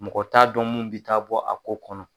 Mɔgɔ t'a dɔn mun be taa bɔ a ko kɔnɔ.